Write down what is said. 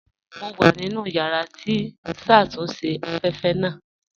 Mo wà nínu yàrà tí n ṣatúnṣe afẹ́fẹ́ naa